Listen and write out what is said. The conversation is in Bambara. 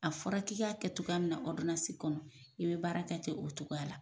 A fɔra k'i kɛ cogoya min na kɔnɔ i be baara kɛten o cogoya la